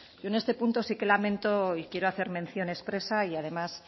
yo en este punto sí que lamento y quiero hacer mención expresa y además